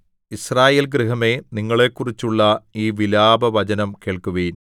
യിസ്രായേൽ ഗൃഹമേ നിങ്ങളെക്കുറിച്ചുള്ള ഈ വിലാപവചനം കേൾക്കുവിൻ